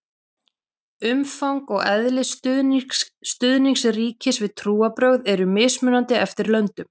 umfang og eðli stuðnings ríkis við trúarbrögð eru mismunandi eftir löndum